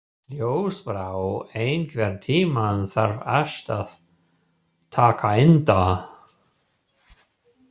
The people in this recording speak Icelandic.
Ljósbrá, einhvern tímann þarf allt að taka enda.